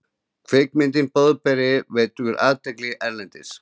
Kvikmyndin Boðberi vekur athygli erlendis